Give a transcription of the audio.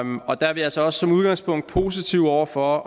og der er vi altså også i udgangspunktet positive over for at